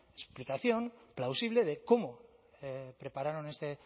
explicación plausible de cómo prepararon este